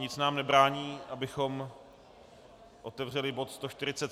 Nic nám nebrání, abychom otevřeli bod